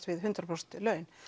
við hundrað prósent laun